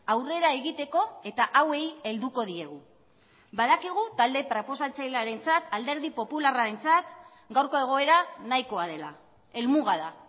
aurrera egiteko eta hauei helduko diegu badakigu talde proposatzailearentzat alderdi popularrarentzat gaurko egoera nahikoa dela helmuga da